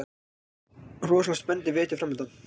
Rosalega spennandi vetur framundan